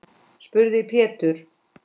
spurði Pétur.